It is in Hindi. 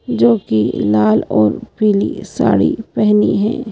जो कि लाल और पीली साड़ी पहनी है।